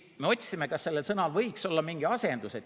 Me otsisime, kas sellel sõnal võiks olla mingi asendus.